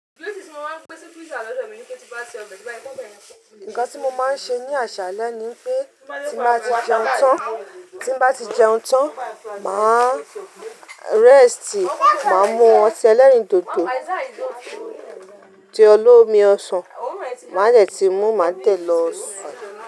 Nǹkan tí mo máa ń ṣe ní àṣálẹ́ ni pé tí bá ti jẹun tán, tí bá ti jẹun tán, mà á rest, mà á mú ọtí ẹlẹ́rìndòdò, ti olómi ọsàn, màá dẹ̀ tí mú, màá dẹ̀ lọ sun.